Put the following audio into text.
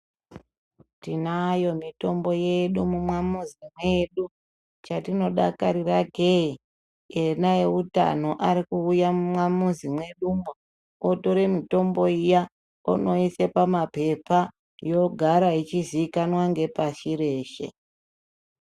Tinayo mitombo yedu mumamizi mwedu chatinodakarira kee, ona eutano arikuuya mumamizi mwedumwo otora mutombo iya onoisa pamapepa yogara ichizikanwa ngepashi reshe.